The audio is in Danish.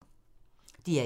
DR1